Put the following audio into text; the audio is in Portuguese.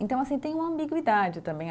Então, assim, tem uma ambiguidade também.